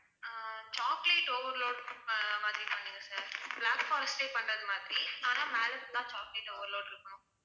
ஆஹ் chocolate overload அஹ் மாதிரி பண்ணுங்க sirblack forest பண்றது மாதிரி ஆனா மேல full ஆ chocolate overload இருக்கணும்